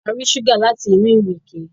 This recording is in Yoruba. A rí ṣúgà láti inú ìrèké